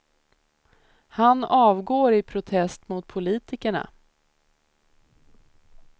Han avgår i protest mot politikerna.